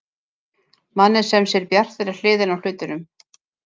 Manni sem sér bjartari hliðina á hlutunum.